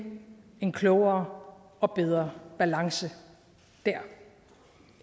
en klogere og bedre balance der